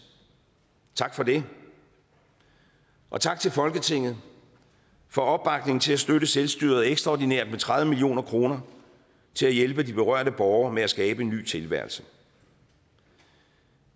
tak for det og tak til folketinget for opbakningen til at støtte selvstyret ekstraordinært med tredive million kroner til at hjælpe de berørte borgere med at skabe en ny tilværelse